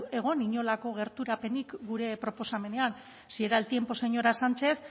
egon inolako gerturapenik gure proposamenean si era el tiempo señora sánchez